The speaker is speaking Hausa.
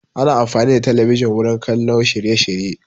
Ana amfani da talabijin wurin kallon shirye shirye